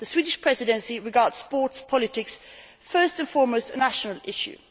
The Swedish Presidency regards sports policy first and foremost as a national issue.